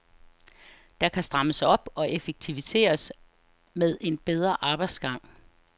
Der kan strammes op og effektiviseres med en bedre arbejdsgang.